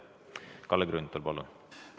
Kalle Grünthal, palun!